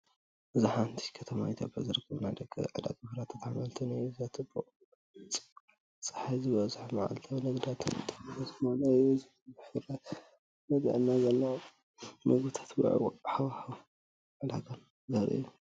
እዚ ኣብ ሓንቲ ከተማ ኢትዮጵያ ዝርከብ ናይ ደገ ዕዳጋ ፍረታትን ኣሕምልትን እዩ። እቲ ቦታ ጽዑቕ፡ ጸሓይ ዝበዝሖን መዓልታዊ ንግዳዊ ንጥፈታት ዝመልኦን እዩ። እዚ ብዙሕ ፍርያት፡ ጥዕና ዘለዎም መግብታትን ውዕዉዕ ሃዋህው ዕዳጋን ዘርኢ እዩ።